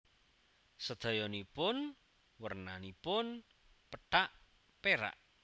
Sedayanipun wernanipun pethak perak